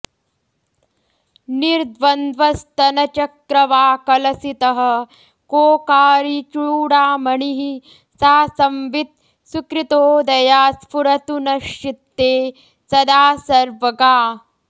निर्द्वन्द्वस्तनचक्रवाकलसितः कोकारिचूडामणिः सा संवित् सुकृतोदया स्फुरतु नश्चित्ते सदा सर्वगा